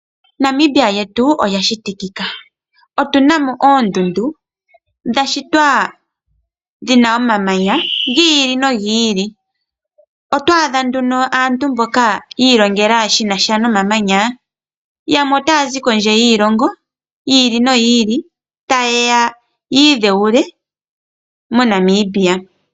Namibia lyetu olya shitikika, otunamo oondundu dhashitwa lyina omamanya giili nogiili . Otwaadha nduno aantu mboka yiilongela shinasha nomamanya , yamwe otaya zi kondje yiilongo yiili noyili, tayeya yiidhewule moNamibia.